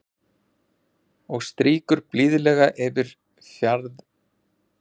Og strýkur blíðlega yfir fjaðrirnar.